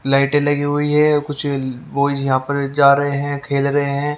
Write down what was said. लाइटें लगी हुई है कुछ वॉयज यहां पर जा रहे हैं खेल रहे हैं ।